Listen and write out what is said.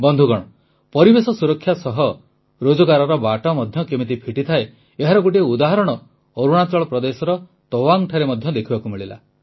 ବନ୍ଧୁଗଣ ପରିବେଶ ସୁରକ୍ଷା ସହ ରୋଜଗାରର ବାଟ ମଧ୍ୟ କେମିତି ଫିଟିଥାଏ ଏହାର ଗୋଟିଏ ଉଦାହରଣ ଅରୁଣାଚଳ ପ୍ରଦେଶର ତୱାଙ୍ଗଠାରେ ମଧ୍ୟ ଦେଖିବାକୁ ମିଳିଲା